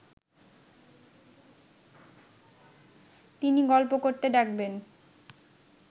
তিনি গল্প করতে ডাকবেন